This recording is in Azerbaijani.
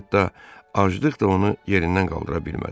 Hətta aclıq da onu yerindən qaldıra bilmədi.